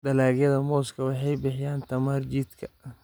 Dalagyada mooska waxay bixiyaan tamar jidhka.